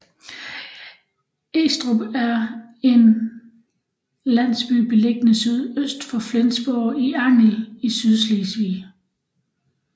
Estrup er en landsby beliggende sydøst for Flensborg i Angel i Sydslesvig